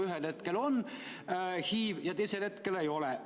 Ühel hetkel on HIV ja teisel hetkel ei ole.